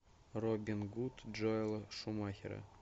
робин гуд джоэла шумахера